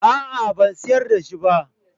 A'a ban sayar da shi ba